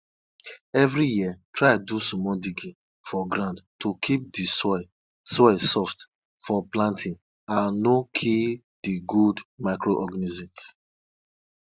person wey dey kpai animal first dey pray before he cut the throat of any animal he go use for sacrifice.